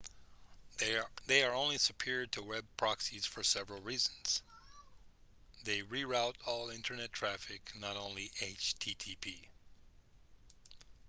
they are superior to web proxies for several reasons they re-route all internet traffic not only http